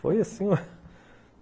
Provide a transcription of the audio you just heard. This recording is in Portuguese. Foi assim